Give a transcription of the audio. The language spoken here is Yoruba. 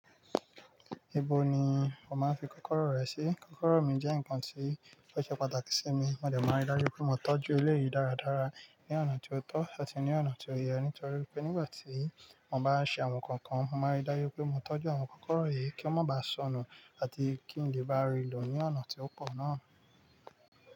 Ibo ni o máa ń fi kọ́kọ́rọ́ rẹ sí? Kọ́kọ́rọ́ mi jẹ́ nǹkan tí ó ṣe pàtàkì sí mi. Mó dẹ máa n rí dájú pé mo tọ́jú eléyìí dáradára ní ọ̀nà tí ó tọ́ àti ní ọ̀nà tí ó yẹ, nítorí pé nígbà tí mo bá ń ṣe àwọn nǹkan kan, mo máa rí dájú pé mo tọ́jú àwọn kọ́kọ́rọ́ yìí kí wọ́n má ba sọnù àti kí n lè bá rí i lò ní ọ̀nà tí ó pọ̀ náà.